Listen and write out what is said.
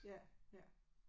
Ja ja